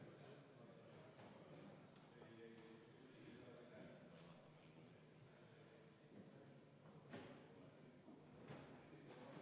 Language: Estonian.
Juhtivkomisjon on seda arvestanud täielikult.